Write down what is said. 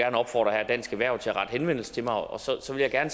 opfordre dansk erhverv til at rette henvendelse til mig og så vil jeg gerne